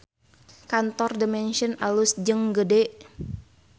Kantor The Mansion alus jeung gede